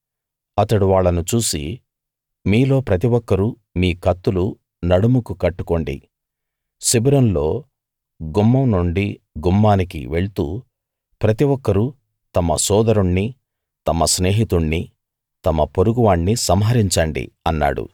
అతడు వాళ్ళను చూసి మీలో ప్రతి ఒక్కరూ మీ కత్తులు నడుముకు కట్టుకోండి శిబిరంలో గుమ్మం నుండి గుమ్మానికి వెళ్తూ ప్రతి ఒక్కరూ తమ సోదరుణ్ణి తమ స్నేహితుణ్ణి తమ పొరుగువాణ్ణి సంహరించండి అన్నాడు